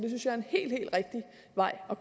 og